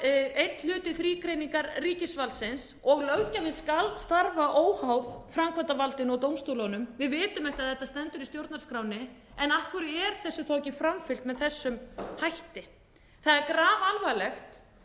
einn hluti þrígreiningar ríkisvaldsins og löggjöfin skal starfa óháð framkvæmdarvaldinu og dómstólunum við vitum að þetta stendur í stjórnarskránni en af hverju er þessu þá ekki framfylgt með þessum hætti það er